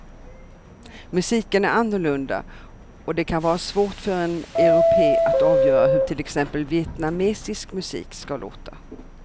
Musiken är annorlunda och det kan vara svårt för en europé att avgöra hur till exempel vietnamesisk musik ska låta.